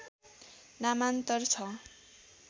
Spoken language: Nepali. नामान्तर छ